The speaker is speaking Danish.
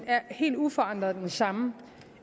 er helt uforandret den samme